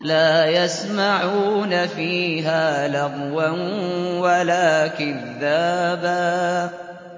لَّا يَسْمَعُونَ فِيهَا لَغْوًا وَلَا كِذَّابًا